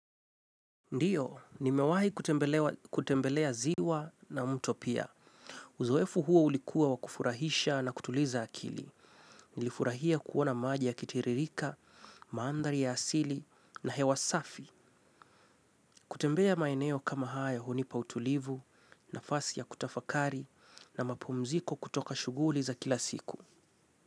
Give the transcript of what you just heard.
Ndiyo, nimewahi kutembelea ziwa na mto pia. Uzoefu huo ulikuwa wa kufurahisha na kutuliza akili. Nilifurahia kuona maji yakitiririka, mandhari ya asili na hewa safi. Kutembea maeneo kama hayo hunipa utulivu, nafasi ya kutafakari na mapumziko kutoka shughuli za kila siku.